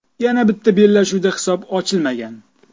Yana bitta bellashuvda hisob ochilmagan.